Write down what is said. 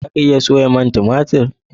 za a iya soya man tumatir?